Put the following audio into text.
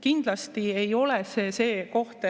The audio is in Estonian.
Kindlasti ei ole see see koht,